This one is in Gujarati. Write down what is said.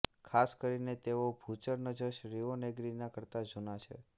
ખાસ કરીને કે તેઓ ભૂચર નજશ રિઓનેગ્રીના કરતા જૂના છે